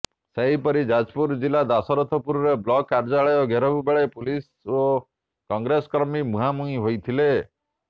ସେହିପରି ଯାଜପୁର ଜିଲ୍ଲା ଦଶରଥପୁରରେ ବ୍ଲକ କାର୍ଯ୍ୟାଳୟ ଘେରାଉ ବେଳେ ପୋଲିସ ଓ କଂଗ୍ରେସ କର୍ମୀ ମୁହାଁମୁହିଁ ହୋଇଥିଲେ